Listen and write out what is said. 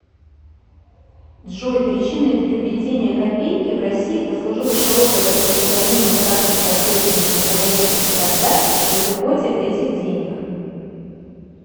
джой причиной для введения копейки в россии послужило широкое распространение практики обрезывания находящихся тогда в обиходе этих денег